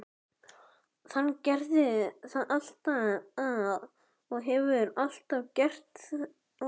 Hann gerði það alltaf og hefur alltaf gert.